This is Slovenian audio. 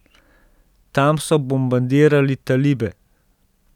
Tam so bombardirali talibe.